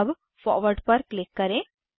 अब फॉरवर्ड पर क्लिक करें